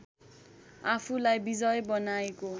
आफूलाई विजय बनाएको